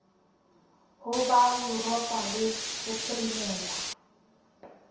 ho ba yuropa le bophirimela